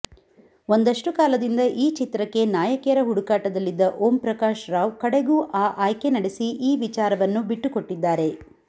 ಒಂದಷ್ಟು ಕಾಲದಿಂದ ಈ ಚಿತ್ರಕ್ಕೆ ನಾಯಕಿಯರ ಹುಡುಕಾಟದಲ್ಲಿದ್ದ ಓಂಪ್ರಕಾಶ್ ರಾವ್ ಕಡೆಗೂ ಆ ಆಯ್ಕೆ ನಡೆಸಿ ಈ ವಿಚಾರವನ್ನು ಬಿಟ್ಟುಕೊಟ್ಟಿದ್ದಾರೆ